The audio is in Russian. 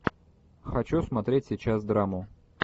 хочу смотреть сейчас драму